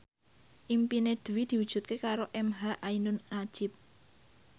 impine Dwi diwujudke karo emha ainun nadjib